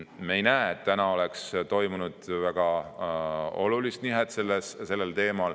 Me ei näe, et selles oleks toimunud väga suurt nihet.